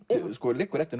liggur eftir